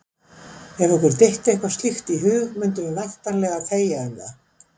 ef okkur dytti eitthvað slíkt í hug mundum við væntanlega þegja um það!